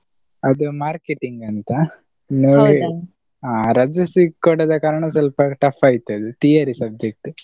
ಅದು marketing ಅಂತ ರಜೆಸಾ ಕೊಡದ ಕಾರಣ ಸ್ವಲ್ಪ tough ಆಯ್ತು ಅದು theory subject .